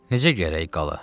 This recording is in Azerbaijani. Necə gərək qala?